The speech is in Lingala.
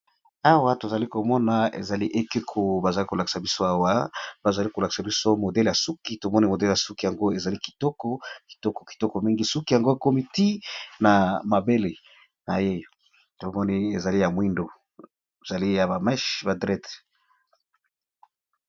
Awa tozali komona ezali ekeko bazali kolakisa biso awa bazali kolakisa biso modele ya suki tomoni modele ya suki yango ezali iokokitoko kitoko mingi suki yango ya komi ti na mabele na ye tomoni ezali ya mwindo ezali ya bameche ba drede.